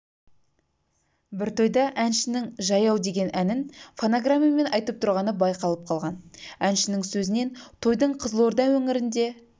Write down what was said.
бір тойда әншінің жаяу деген әнін фонограммамен айтып тұрғаны байқалып қалған әншінің сөзінен тойдың қызылорда өңірінде